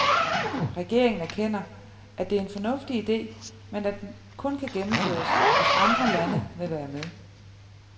Regeringen erkender, at det er en fornuftig ide, men at den kun kan gennemføres, hvis andre lande vil være med.